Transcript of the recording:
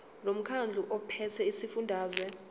lomkhandlu ophethe esifundazweni